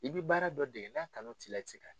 I bi baara dɔ de ye n'a kanu t'i la i ti se ka